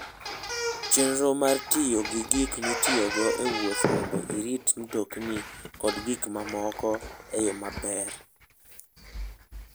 Chenro mar tiyo gi gik mitiyogo e wuoth mondo irit mtoki kod gik mamoko e yo maler.